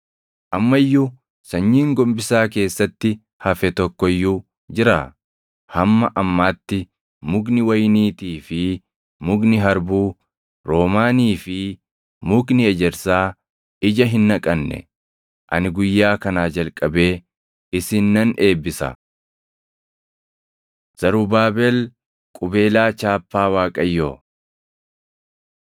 Amma iyyuu sanyiin gombisaa keessatti hafe tokko iyyuu jiraa? Hamma ammaatti mukni wayiniitii fi mukni harbuu, roomaanii fi mukni ejersaa ija hin naqanne. “ ‘Ani guyyaa kanaa jalqabee isin nan eebbisa.’ ” Zarubaabel Qubeelaa Chaappaa Waaqayyoo